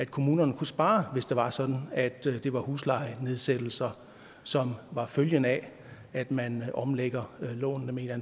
kommunerne kunne spare hvis det var sådan at det var huslejenedsættelser som var følgen af at man omlægger lånene med